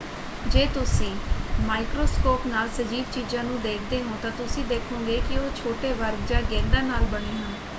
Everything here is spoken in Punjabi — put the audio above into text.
ਜੇ ਤੁਸੀਂ ਮਾਈਕਰੋਸਕੋਪ ਨਾਲ ਸਜੀਵ ਚੀਜ਼ਾਂ ਨੂੰ ਦੇਖਦੇ ਹੋ ਤਾਂ ਤੁਸੀਂ ਦੇਖੋਂਗੇ ਕਿ ਉਹ ਛੋਟੇ ਵਰਗ ਜਾਂ ਗੇਂਦਾਂ ਨਾਲ ਬਣੇ ਹਨ।